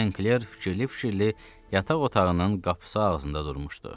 St. Kler fikirli-fikirli yataq otağının qapısı ağzında durmuşdu.